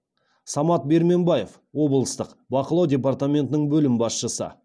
самат барменбаев облыстық бақылау департаментінің бөлім басшысы